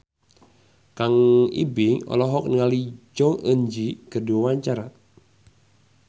Kang Ibing olohok ningali Jong Eun Ji keur diwawancara